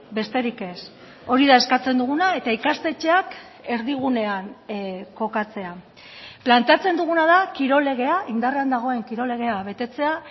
besterik ez hori da eskatzen duguna eta ikastetxeak erdigunean kokatzea planteatzen duguna da kirol legea indarrean dagoen kirol legea betetzea